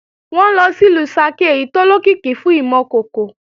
Wọn ńlọ sìlú Ṣakí èyí tó lókìkí fún ìmọ̀ kòkò